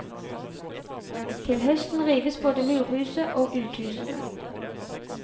Til høsten rives både murhuset og uthusene.